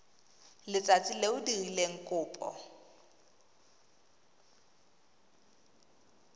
letsatsi le o dirileng kopo